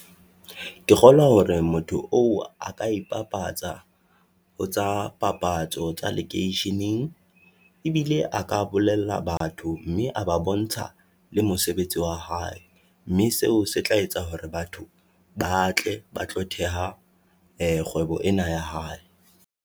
Ke kgolwa hore motho oo a ka ipapatsa ho tsa papatso tsa lekeisheneng, e bile a ka bolella batho mme a ba bontsha le mosebetsi oa hae. Mme seo se tla etsa hore batho ba tle ba tlo theoha kgwebo ena ya hae.